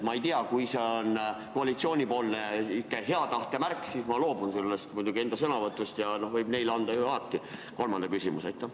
Ma ei tea, kui see on koalitsioonil hea tahte märk, siis ma loobun muidugi enda sõnavõtust, siis võib neile anda ju alati kolmanda küsimuse.